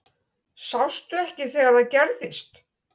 Sástu ekki þegar það gerðist?